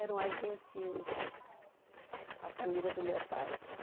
Eram argentinos, a família do meu pai.